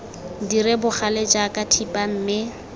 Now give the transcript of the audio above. dire bogale jaaka thipa mme